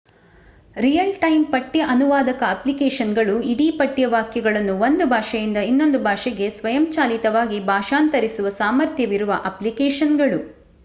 real-time ಪಠ್ಯ ಅನುವಾದಕ ಅಪ್ಲಿಕೇಶನ್‌ಗಳು – ಇಡೀ ಪಠ್ಯ ವಾಕ್ಯಗಳನ್ನು ಒಂದು ಭಾಷೆಯಿಂದ ಇನ್ನೊಂದು ಭಾಷೆಗೆ ಸ್ವಯಂಚಾಲಿತವಾಗಿ ಭಾಷಾಂತರಿಸುವ ಸಾಮರ್ಥ್ಯವಿರುವ ಅಪ್ಲಿಕೇಶನ್‌ಗಳು